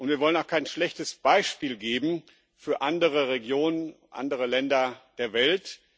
Und wir wollen auch kein schlechtes Beispiel geben für andere Regionen, andere Länder der Welt.